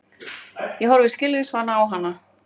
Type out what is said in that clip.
Ég horfi skilningsvana á hana.